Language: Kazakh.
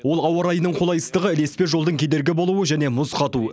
ол ауа райының қолайсыздығы ілеспе жолдың кедергі болуы және мұз қату